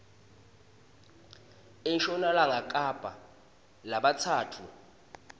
enshonalanga kapa labatsatfu